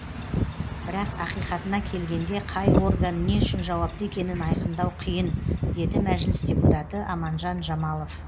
бірақ ақиқатына келгенде қай орган не үшін жауапты екенін айқындау қиын деді мәжіліс депутаты аманжан жамалов